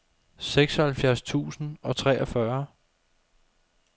seksoghalvfjerds tusind og treogfyrre